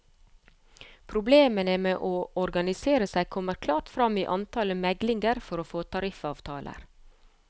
Problemene med å organisere seg kommer klart frem i antallet meglinger for å få tariffavtaler.